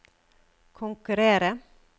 konkurrere